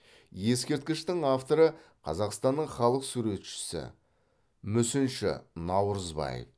ескерткіштің авторы қазақстанның халық суретшісі мүсінші наурызбаев